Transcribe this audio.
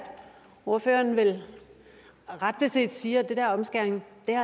ordføreren vel ret beset siger at det der omskæring